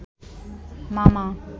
মামা